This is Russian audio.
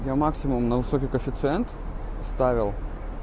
я максимум на высокий коэффициент ставил